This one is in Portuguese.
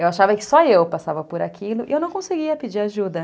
Eu achava que só eu passava por aquilo e eu não conseguia pedir ajuda.